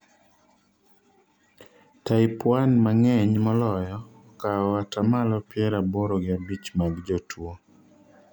type I emang'eny moloyo, okao atamalo pier aboro gi abich mag jotuwo